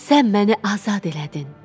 Sən məni azad elədin.